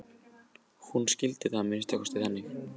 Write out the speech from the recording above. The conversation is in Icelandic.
Hún skildi það að minnsta kosti þannig.